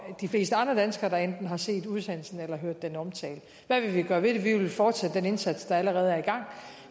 de fleste andre danskere der enten har set udsendelsen eller hørt den omtalt hvad vil vi gøre ved det vi vil fortsætte den indsats der allerede er i gang